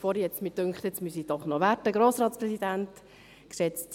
Vorhin hat es mich aber gedünkt, es müsse trotzdem sein.